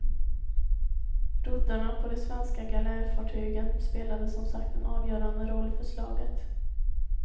Roddarna på de svenska galärfartygen spelade som sagt en avgörande roll för slaget.